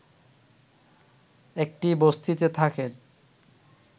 একটি বস্তিতে থাকেন